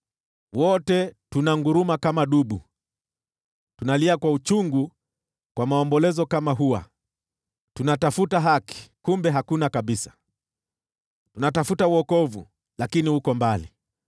Wote tunanguruma kama dubu; tunalia kwa maombolezo kama hua. Tunatafuta haki, kumbe hakuna kabisa; tunatafuta wokovu, lakini uko mbali.